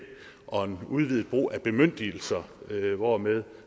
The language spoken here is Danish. og at udvide brugen af bemyndigelser hvormed